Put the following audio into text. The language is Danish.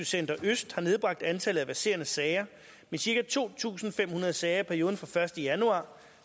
center øst har nedbragt antallet af verserende sager med cirka to tusind fem hundrede sager i perioden fra første januar